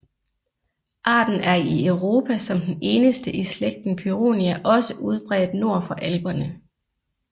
Arten er i Europa som den eneste i slægten Pyronia også udbredt nord for Alperne